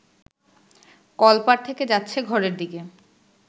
কলপাড় থেকে যাচ্ছে ঘরের দিকে